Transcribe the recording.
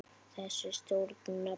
Þessi stjórn nefnist